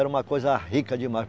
Era uma coisa rica demais.